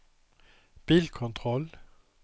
bilkontroll